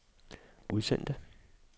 udsendte